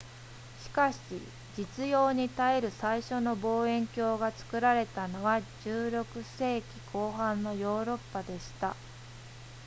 しかし実用に耐える最初の望遠鏡が作られたのは16世紀後半のヨーロッパでした